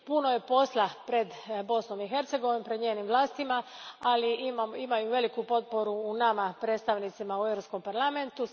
Puno je posla pred Bosnom i Hercegovinom, pred njenim vlastima, ali imaju veliku potporu u nama, predstavnicima u Europskom parlamentu.